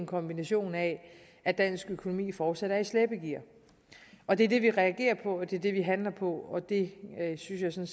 kombination med at dansk økonomi fortsat er i slæbegear og det er det vi reagerer på det er det vi handler på og det synes jeg